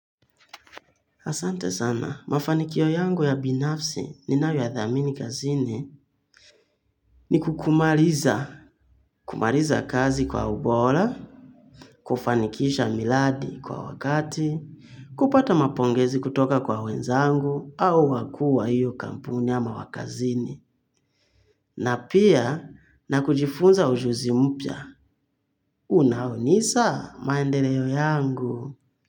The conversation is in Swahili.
Asante sana, mafanikio yangu ya binafsi ninayoyathamini kazini ni kumaliza. Kumaliza kazi kwa ubora, kufanikisha miradi kwa wakati, kupata mapongezi kutoka kwa wenzangu au wakuu wa hiyo kampuni ama wa kazini. Na pia na kujifunza ujuzi mpya. Unahunisha maendeleo yangu.